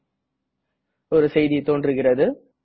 மீன்டும் ஒரு செய்தி தோன்றுகிறது